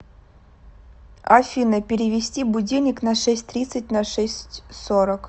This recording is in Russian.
афина перевести будильник на шесть тридцать на шесть сорок